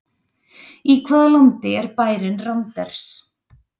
Í hvaða landi er bærinn Randers?